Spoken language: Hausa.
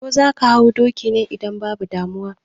Ko zaka hau dokin ne? Idan babu damuwa